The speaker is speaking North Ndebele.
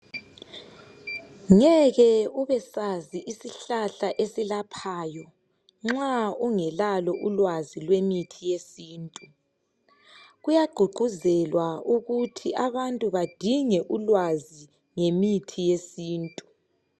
Ngeke ubesazi isihlahla esilaphayo nxa ungelalo ulwazi lwemithi yesintu. Kuyagqugquzelwa ukuthi abantu badinge ulwazi ngemithi yesintu.